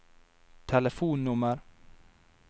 telefonnummer